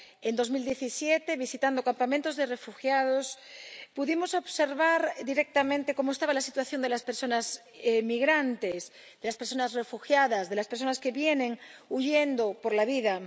En 2017, visitando campamentos de refugiados, pudimos observar directamente cómo estaba la situación de las personas migrantes, de las personas refugiadas, de las personas que vienen huyendo por la vida.